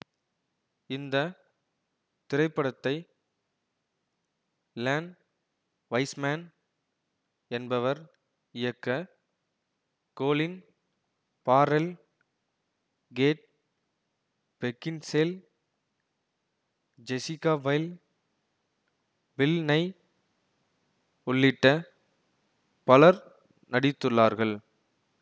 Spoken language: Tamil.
இந்த திரைப்படத்தை லென் வைஸ்மேன் என்பவர் இயக்க Colin Farrell Kate Beckinsale Jessica Biel Bill Nighy உள்ளிட்ட பலர் நடித்துள்ளார்கள்